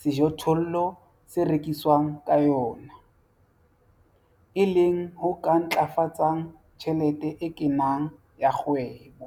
sejothollo se rekiswang ka yona, e leng ho ka ntlafatsang tjhelete e kenang ya kgwebo.